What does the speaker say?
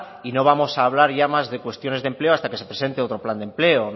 y no vamos a hablar ya más de cuestiones de empleo hasta que se presente otro plan de empleo